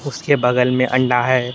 उसके बगल में अंडा है।